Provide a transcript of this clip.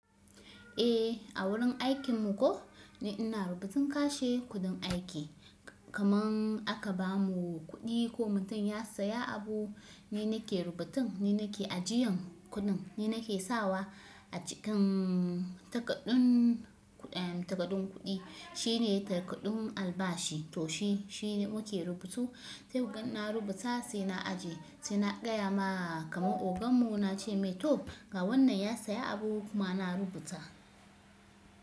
Eh a wurin aikin mu ko, ni ina rubutun kashe kuɗin aiki kaman in aka bamu kuɗi ko mutum ya siya abu, ni nake rubutun, ni nake ajiyan kuɗin, ni nake sawa a cikinnn takadun takaɗun kuɗi. Shi ne takadun albashi to shi shi ne muke rubutu. Sai ku gan na rubuta sai na ajiye, sai na gaya ma kaman ogan mu na ce me toh ga wannan ya siya abu kuma na rubuta.